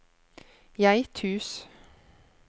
Geithus